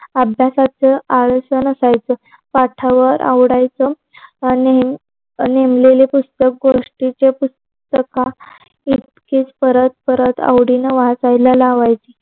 अभ्यासच आयोजन असायच, पाठावर आवडायचं आणि, नेमलेल पुस्तक गोष्टीच पुस्तक इतकं परत परत वाचायला लावायच